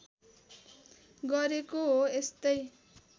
गरेको हो यस्तै